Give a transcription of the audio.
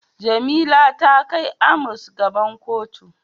Jamila ta kai Amos gaban kotu.